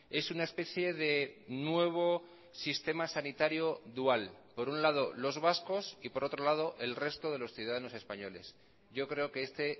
es una especie de nuevo sistema sanitario dual por un lado los vascos y por otro lado el resto de los ciudadanos españoles yo creo que este